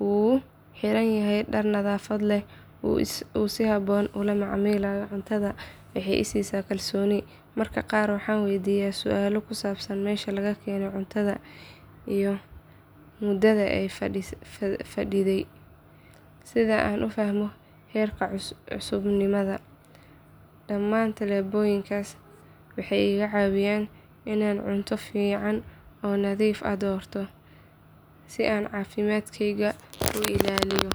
uu xiranyahay dhar nadaafad leh oo uu si habboon ula macaamilayo cuntada waxay i siisaa kalsooni. Mararka qaar waxaan waydiiyaa su’aalo ku saabsan meesha laga keenay cuntada iyo muddada ay fadhiday si aan u fahmo heerka cusubnimada. Dhammaan tallaabooyinkaas waxay iga caawiyaan inaan cunto fiican oo nadiif ah doorto si aan caafimaadkayga u ilaaliyo.